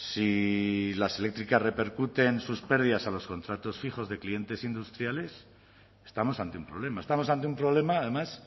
si las eléctricas repercuten sus pérdidas a los contratos fijos de clientes industriales estamos ante un problema estamos ante un problema además